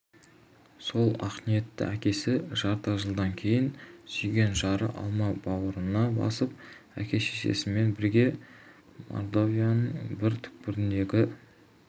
сол ақниетті әкесі жарты жылдан кейін сүйген жары алма бауырына басып әке-шешесімен бірге мордовияның бір түкпіріндегі